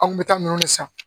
An kun bɛ taa minɛn de san